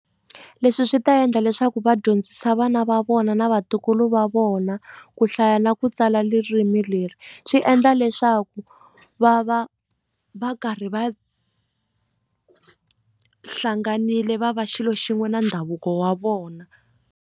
Leswi swi ta endla leswaku va dyondzisa vana va vona na vatukulu va vona ku hlaya na ku tsala leri swi endla leswaku va va va karhi va hlanganile va va xilo xin'we na ndhavuko wa vona.